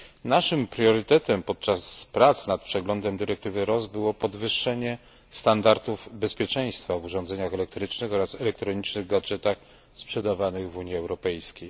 Naszym priorytetem podczas prac nad przeglądem dyrektywy RoHS było podwyższenie standardów bezpieczeństwa w urządzeniach elektrycznych oraz elektronicznych gadżetach sprzedawanych w Unii Europejskiej.